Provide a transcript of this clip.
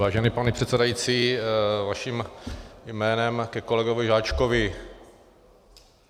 Vážený pane předsedající, vaším jménem ke kolegovi Žáčkovi.